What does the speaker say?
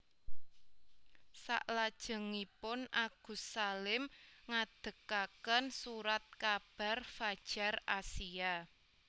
Selajengipun Agus Salim ngadegaken Surat kabar Fadjar Asia